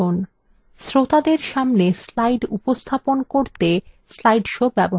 শ্রোতাদের সামনে slide উপস্থাপন করতে slide shows ব্যবহার করা you